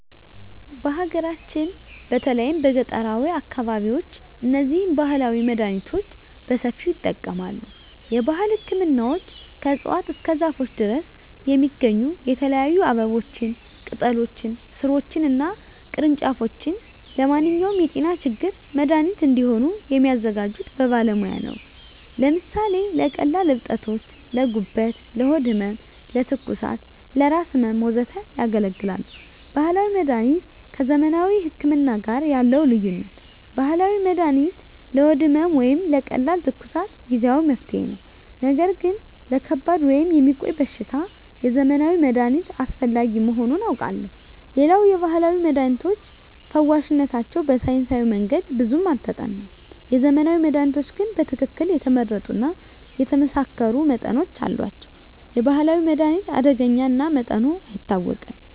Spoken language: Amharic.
በሀገራችን በተለይም በገጠራዊ አካባቢዎች እነዚህን ባህላዊ መድሃኒቶች በሰፊው ይጠቀማሉ። የባህል ህክምናዎች ከእፅዋት እስከ ዛፎች ድረስ የሚገኙ የተለያዩ አበቦችን፣ ቅጠሎችን፣ ሥሮችን እና ቅርንጫፎች ለማንኛውም የጤና ችግር መድሃኒት እንዲሆኑ የሚያዘጋጁት በባለሙያ ነው። ለምሳሌ ለቀላል እብጠቶች: ለጉበት፣ ለሆድ ህመም፣ ለትኩሳት፣ ለራስ ህመም፣ ወዘተ ያገለግላሉ። ባህላዊ መድሀኒት ከዘመናዊ ህክምና ጋር ያለው ልዩነት፦ ባህላዊ መድሃኒት ለሆድ ህመም ወይም ለቀላል ትኩሳት ጊዜአዊ መፍትሄ ነው። ነገር ግን ለከባድ ወይም የሚቆይ በሽታ የዘመናዊ መድሃኒት አስፈላጊ መሆኑን አውቃለሁ። ሌላው የባህላዊ መድሃኒቶች ፈዋሽነታቸው በሳይንሳዊ መንገድ ብዙም አልተጠናም። የዘመናዊ መድሃኒቶች ግን በትክክል የተመረጡ እና የተመሳከሩ መጠኖች አሏቸው። የባህላዊ መድሃኒት አደገኛ እና መጠኑ አይታወቅም።